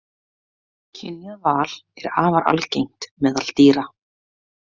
Kynjað val er afar algengt meðal dýra.